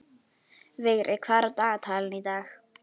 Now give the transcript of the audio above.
Vigri, hvað er á dagatalinu í dag?